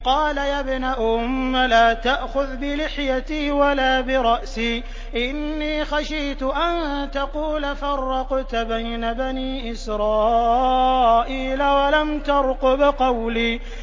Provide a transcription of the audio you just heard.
قَالَ يَا ابْنَ أُمَّ لَا تَأْخُذْ بِلِحْيَتِي وَلَا بِرَأْسِي ۖ إِنِّي خَشِيتُ أَن تَقُولَ فَرَّقْتَ بَيْنَ بَنِي إِسْرَائِيلَ وَلَمْ تَرْقُبْ قَوْلِي